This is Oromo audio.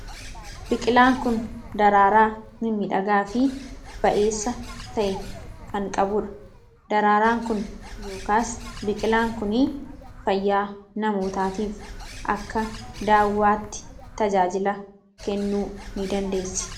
Biqilaan kun daraaraa mimmiidhagaa fi ba'eessa ta'e kan qabudha. Daraaraan biqilaa kanaa yookiin biqilaan kun fayyaa namaaf akka daawwaatti tajaajila kennuuni dandeessi.